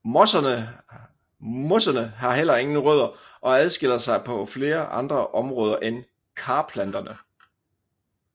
Mosserne har heller ingen rødder og adskiller sig på flere andre områder fra karplanterne